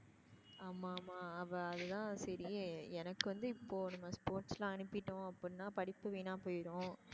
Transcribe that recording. ஆமா ஆமா அவ அதுதான் சரி எனக்கு வந்து இப்போ நம்ம sports ல அனுப்பிட்டோம் அப்படினா படிப்பு வீனா போய்டும்